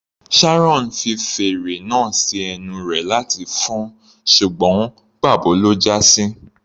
Sharon fi fèrè náà sí ẹnu rẹ̀ láti fọn-ọn ṣùgbọ́n pà bo ló já sí.